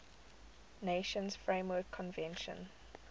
nations framework convention